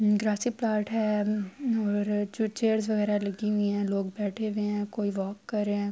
ہے اور چیرس وگیرہ لگی ہوئی ہے۔ لوگ بیٹھے ہوئے ہے۔ کوئی واک کر رہے ہے۔